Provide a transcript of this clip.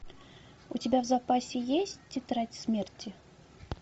у тебя в запасе есть тетрадь смерти